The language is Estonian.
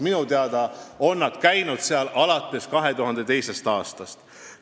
Minu teada on nad seal kohal käinud alates 2002. aastast.